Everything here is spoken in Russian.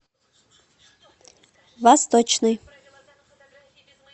восточный